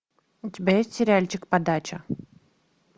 у тебя есть сериальчик подача